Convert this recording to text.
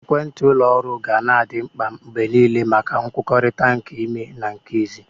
Ekwentị ụlọ oru ga na adị mkpa mgbe niile maka nkwukọrịta nke ime na nke ezi.